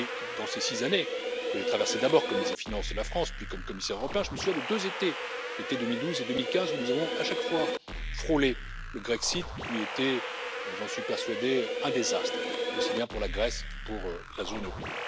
Durant ces six années, que j'ai traversées d'abord comme ministre des finances de la France, puis comme commissaire européen, je me souviens de deux étés, ceux de 2012 et 2015, où nous avons à chaque fois frôlé le Grexit qui eût été j'en suis persuadé un désastre, aussi bien pour la Grèce que pour la zone euro.